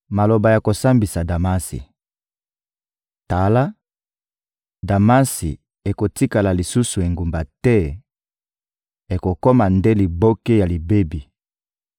Maloba ya kosambisa Damasi: «Tala, Damasi ekotikala lisusu engumba te, ekokoma nde liboke ya libebi.